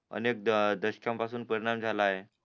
अनेक दशकानं पासून परिणाम झालाय